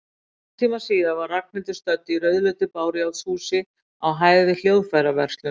Hálftíma síðar var Ragnhildur stödd í rauðleitu bárujárnshúsi, á hæð yfir hljóðfæraverslun.